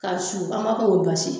Ka su an b'a fɔ k'o basi